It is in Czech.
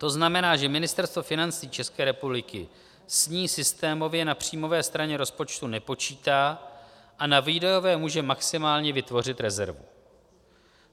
To znamená, že Ministerstvo financí České republiky s ní systémově na příjmové straně rozpočtu nepočítá a na výdajové může maximálně vytvořit rezervu.